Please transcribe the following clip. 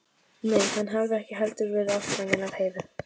Nei, hann hafði ekki heldur verið ástfanginn af Heiðu.